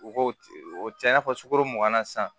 U ko o tɛ i n'a fɔ sukoro mugan na sisan